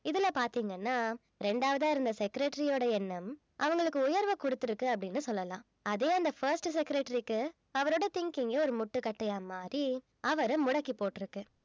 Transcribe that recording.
இதுல பாத்தீங்கன்னா இரண்டாவதா இருந்த secretary யோட எண்ணம் அவங்களுக்கு உயர்வை குடுத்திருக்கு அப்படின்னு சொல்லலாம் அதே அந்த first secretary க்கு அவரோட thinking ஏ ஒரு முட்டுக்கட்டையா மாறி அவரை முடக்கி போட்டிருக்கு